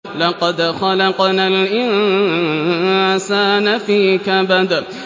لَقَدْ خَلَقْنَا الْإِنسَانَ فِي كَبَدٍ